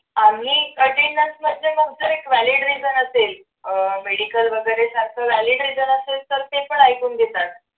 आम्ही attendance वरचे एक valid reason असेल अह medical वगैरे जास्त valid reason असेल तर ते पण ऐकून घेतात.